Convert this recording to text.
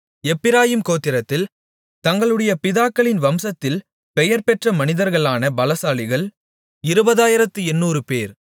எப்பிராயீம் கோத்திரத்தில் தங்களுடைய பிதாக்களின் வம்சத்தில் பெயர் பெற்ற மனிதர்களான பலசாலிகள் இருபதாயிரத்து எண்ணூறுபேர்